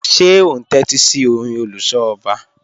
Ṣe o n tẹtisi ọ̀rìn oluso ọba?